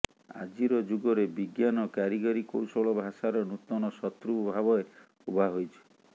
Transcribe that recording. ଆଜିର ଯୁଗରେ ବିଜ୍ଞାନ କାରିଗରୀ କୌଶଳ ଭାଷାର ନୂତନ ଶତ୍ରୁ ଭାବେ ଉଭା ହୋଇଛି